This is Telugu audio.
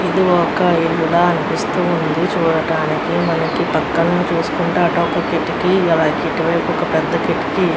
ఇది ఒక ఇల్లు లాగా అనిపిస్తుంది చూడటానికి మనకు పక్కనే చూసుకుంటే అటు ఒక కిటికి ఇటువైపు ఒక పెద్ద కిటికీ --